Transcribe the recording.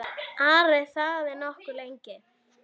Ari þagði nokkuð lengi.